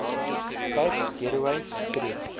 cape gateway streef